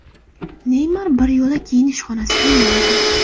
Neymar bir yo‘la kiyinish xonasiga yo‘l olgan.